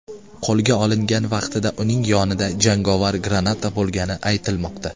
Qo‘lga olingan vaqtida uning yonida jangovar granata bo‘lgani aytilmoqda.